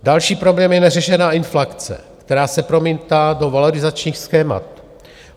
Další problém je neřešená inflace, která se promítá do valorizačních schémat.